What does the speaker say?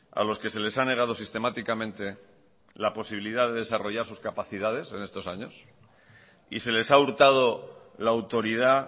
a los que se les ha negado sistemáticamente la posibilidad de desarrollar sus capacidades en estos años y se les ha hurtado la autoridad